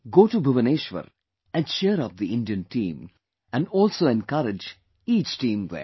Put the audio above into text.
Go to Bhubaneshwar and cheer up the Indian team and also encourage each team there